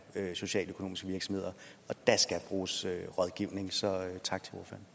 socialøkonomiske virksomheder der skal bruges rådgivning så tak